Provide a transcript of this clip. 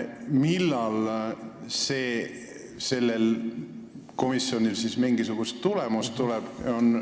Millal sellelt komisjonilt siis mingisugune tulemus tuleb?